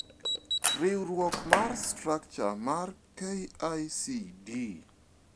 Riuruok mar structure mar KICD